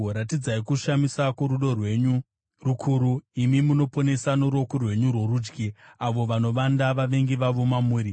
Ratidzai kushamisa kworudo rwenyu rukuru, imi munoponesa noruoko rwenyu rworudyi, avo vanovanda vavengi vavo mamuri.